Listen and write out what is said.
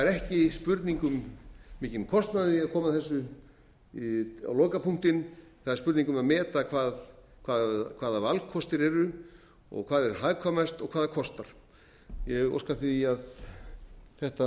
er ekki spurning um mikinn kostnað við að koma þessu á lokapunktinn það er spurning um að meta hafa valkostir eru og hvað er hagkvæmast og hvað það kostar ég óska því að þetta mál